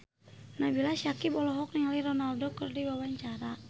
Nabila Syakieb olohok ningali Ronaldo keur diwawancara